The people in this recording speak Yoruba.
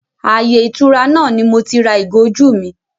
Ààyè ìtura náà ni moti ra ìgò ojú mi